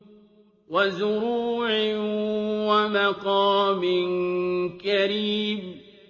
وَزُرُوعٍ وَمَقَامٍ كَرِيمٍ